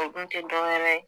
o dun tɛ dɔwɛrɛ